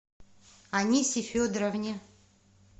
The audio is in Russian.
анисе федоровне